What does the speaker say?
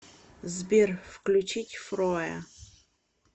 сбер включить фроя